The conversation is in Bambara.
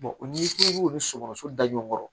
n'i k'i b'olu sogo da ɲɔgɔn kɔrɔ